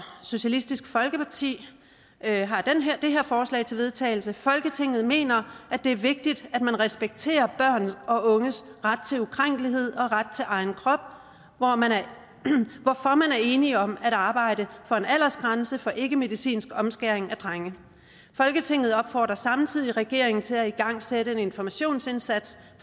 socialistisk folkeparti forslag til vedtagelse folketinget mener det er vigtigt at man respekterer børn og unges ret til ukrænkelighed og ret til egen krop hvorfor man er enig om at arbejde for en aldersgrænse for ikkemedicinsk omskæring af drenge folketinget opfordrer samtidig regeringen til at igangsætte en informationsindsats